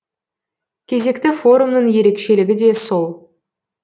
кезекті форумның ерекшелігі де сол